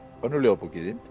önnur ljóðabókin